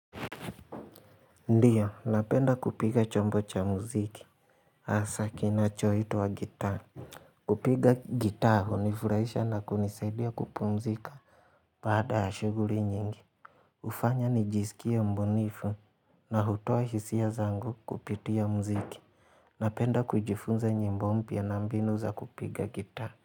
Ndiyo, napenda kupiga chombo cha muziki. Hasa kinachoitwa gitaa. Kupiga gitaa hunifurahisha na kunisaidia kupumzika. Baada ya shughuli nyingi. Hufanya nijisikie mbunifu na hutoa hisia zangu kupitia muziki. Napenda kujifunza nyimbo mpya na mbinu za kupiga gitaa.